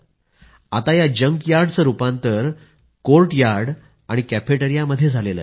आता या जंकयार्डचं रूपांतर कोर्टयार्ड आणि कॅफेटेरिया मध्ये झालं आहे